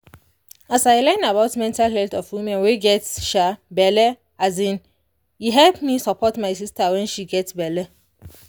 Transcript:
as i learn about mental health of woman wey get um belle um e help me support my sister wen she get belle